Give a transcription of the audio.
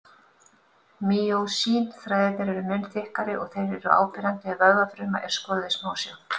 Mýósín-þræðirnir eru mun þykkari og þeir eru áberandi ef vöðvafruma er skoðuð í smásjá.